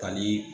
Kalii